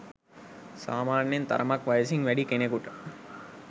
සාමාන්‍යයෙන් තරමක් වයසින් වැඩි කෙනෙකුට